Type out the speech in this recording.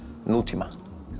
nútíma